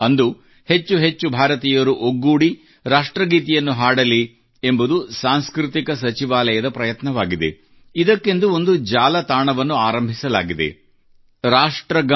ಅಂದು ಹೆಚ್ಚೆಚ್ಚು ಭಾರತೀಯರು ಒಗ್ಗೂಡಿ ರಾಷ್ಟ್ರ ಗೀತೆಯನ್ನು ಹಾಡಲಿ ಎಂಬುದು ಸಾಂಸ್ಕೃತಿಕ ಸಚಿವಾಲಯದ ಪ್ರಯತ್ನವಾಗಿದೆ ಇದಕ್ಕೆಂದು ಒಂದು ಜಾಲತಾಣವನ್ನು ಆರಂಭಿಸಲಾಗಿದೆ rashtragana